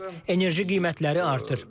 Enerji qiymətləri artır.